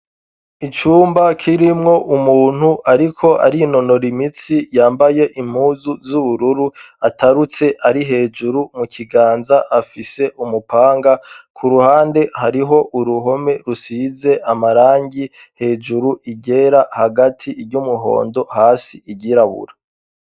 Icumba kirimwo umuntu ariko arinonora imitsi yambaye impuzu z'ubururu atarutse ari hejuru mu kiganza afise umupanga, ku ruhande hariho uruhome rusize amarangi, hejuru iryera, hagati iryumuhondo, hasi iryirabura.